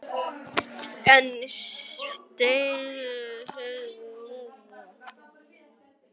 En vill Sigursteinn styrkja frekar?